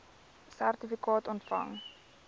sertifikaat ontvang